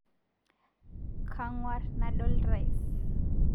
Kang'war nadol rais